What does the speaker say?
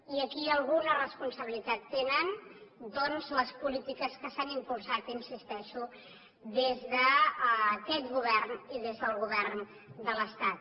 i aquí alguna responsabilitat tenen doncs les polítiques que s’han impulsat hi insisteixo des d’aquest govern i des del govern de l’estat